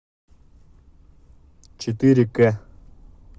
четыре к